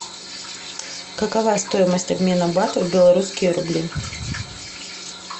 какова стоимость обмена бата в белорусские рубли